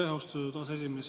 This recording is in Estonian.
Aitäh, austatud aseesimees!